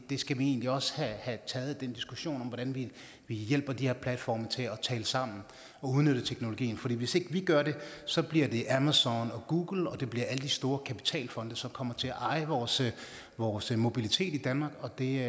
skal egentlig også have taget den diskussion om hvordan vi hjælper de her platforme til at tale sammen og udnytte teknologien for hvis ikke vi gør det så bliver det amazon og google og det bliver alle de store kapitalfonde som kommer til at eje vores vores mobilitet i danmark og det